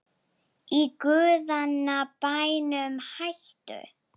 Í guðanna bænum hættu